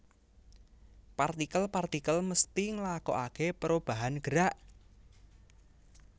Partikel partikel mésti ngélakoakè pérobahan gerak